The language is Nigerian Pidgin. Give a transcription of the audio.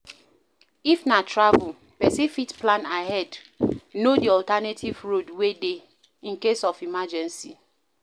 If na travel, person fit plan ahead to know di alternative road wey dey in case of emergency